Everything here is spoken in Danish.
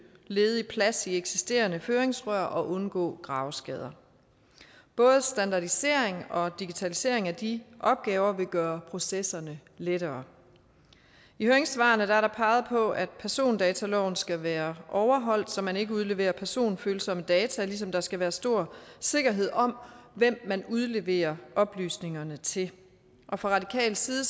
ledig plads i eksisterende føringsrør og undgå graveskader både standardisering og digitalisering af de opgaver vil gøre processerne lettere i høringssvarene er der peget på at persondataloven skal være overholdt så man ikke udleverer personfølsomme data ligesom der skal være stor sikkerhed om hvem man udleverer oplysningerne til fra radikal side